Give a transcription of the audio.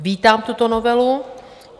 Vítám tuto novelu.